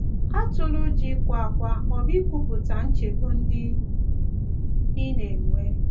Atụla ụjọ ịkwa ákwá ma ọ bụ ikwupụta nchegbu ndị ị na -- enwe.